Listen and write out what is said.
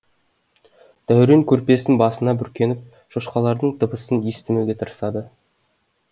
дәурен көрпесін басына бүркеніп шошқалардың дыбысын естімеуге тырысады